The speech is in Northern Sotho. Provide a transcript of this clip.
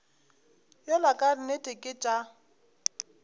yola ka nnete ke tša